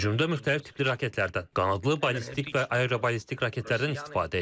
Hücumda müxtəlif tipli raketlərdən, qanadlı, ballistik və aeroballistik raketlərdən istifadə edilib.